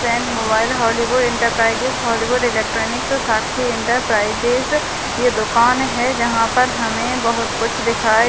फ्रेंन mobile Hollywood enterprises Hollywood electronics Sakshi enterprises ये दुकान है जहां पर हमें बहोत कुछ दिखाई--